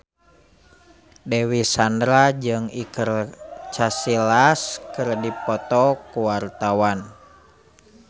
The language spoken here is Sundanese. Dewi Sandra jeung Iker Casillas keur dipoto ku wartawan